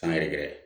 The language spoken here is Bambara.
San yɛrɛ gɛrɛ